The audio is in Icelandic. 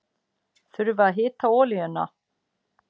Þurfa að hita olíuna